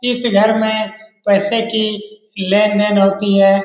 इस घर में पैसे की लेन-देन होती है।